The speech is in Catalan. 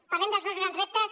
parlem dels dos grans reptes